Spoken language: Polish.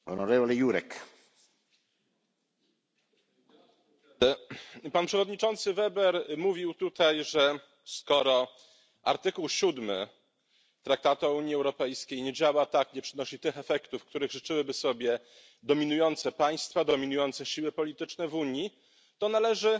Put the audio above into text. Panie Przewodniczący! Pan przewodniczący Weber mówił tutaj, że skoro art. 7 Traktatu o Unii Europejskiej tak nie działa, nie przynosi tych efektów, których życzyłyby sobie dominujące państwa, dominujące siły polityczne w Unii, to należy